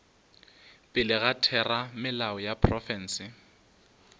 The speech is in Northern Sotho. pele ga theramelao ya profense